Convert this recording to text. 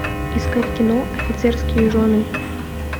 искать кино офицерские жены